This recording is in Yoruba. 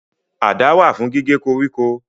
Àdá wà fún gígé koríko